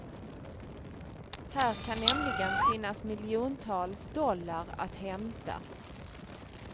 Här kan nämligen finnas miljontals dollar att hämta.